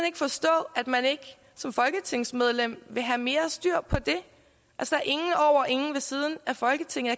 ikke forstå at man ikke som folketingsmedlem vil have mere styr på det altså ingen over og ingen ved siden af folketinget